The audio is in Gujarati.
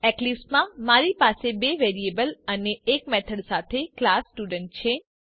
એક્લીપ્સ માં મારી પાસે બે વેરિયેબલ અને એક મેથડ સાથે ક્લાસ સ્ટુડન્ટ છે